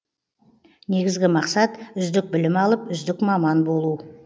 негізгі мақсат үздік білім алып үздік маман болу